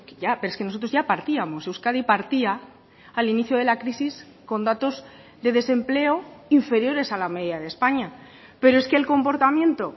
ya pero es que nosotros ya partíamos euskadi partía al inicio de la crisis con datos de desempleo inferiores a la media de españa pero es que el comportamiento